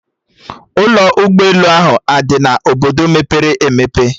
Ụlọ ụgbọ elu ahụ adị na Obodo mepere emepe?